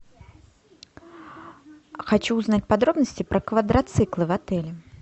хочу узнать подробности про квадроциклы в отеле